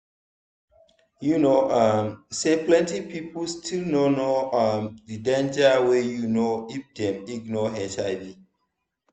you know um say plenty people still no know um the danger wey you know if dem ignore hiv.